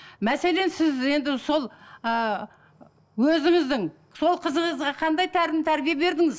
мәселен сіз енді сол ыыы өзіңіздің сол қызыңызға қандай тәлім тәрбие бердіңіз